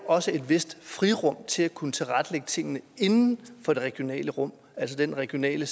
også er et vist frirum til at kunne tilrettelægge tingene inden for det regionale rum altså den regionale